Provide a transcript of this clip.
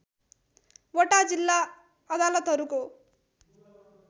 वटा जिल्ला अदालतहरूको